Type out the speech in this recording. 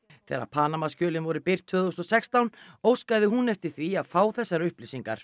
þegar voru birt tvö þúsund og sextán óskaði hún eftir því að fá þessar upplýsingar